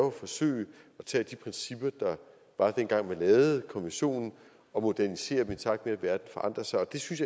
at forsøge at tage de principper der var dengang man lavede konventionen og modernisere dem i takt med at verden forandrer sig og det synes